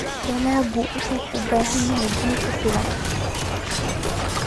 Dalaggu wuxuu u baahan yahay biyo ku filan.